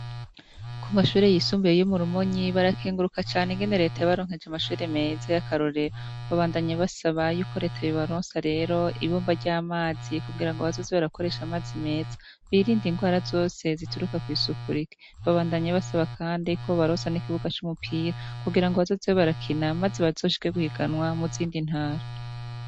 Ku mashure yisumbuye iyo murumonyi barakinguruka cane ingenereta ya baronkeje amashure meza y'akarorero babandanye basaba yuko reta bibaronsi rero ibumba ry'amazi kugira ngo bazozi b arakoresha amazi meza birindi ingwara azose zituruka kw'isukuriki babandanye basaba, kandi ko barosa n'ikibuga c'umupira kugira ngo bazozewe barakina, maze basoshike gwiganwa muzindi ntara.